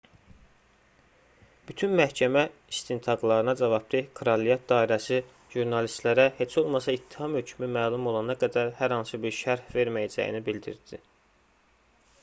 bütün məhkəmə istintaqlarına cavabdeh kraliyət dairəsi jurnalistlərə heç olmasa ittiham hökmü məlum olana qədər hər hansı bir şərh verməyəcəyini bildirdi